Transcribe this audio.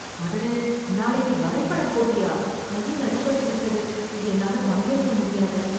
அடடே நாளைக்கு வரைபட போட்டியா? கையில் அடிபட்டு விட்டது, என்னால பங்கேற்க முடியாது.